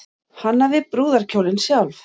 Hannaði brúðarkjólinn sjálf